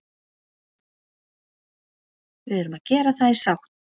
Við erum að gera það í sátt